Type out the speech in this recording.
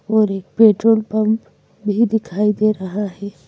और एक petrol pump भी दिखाई दे रहा है।